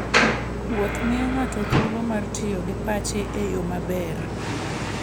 Wuoth miyo ng'ato thuolo mar tiyo gi pache e yo maber.